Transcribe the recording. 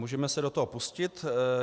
Můžeme se do toho pustit.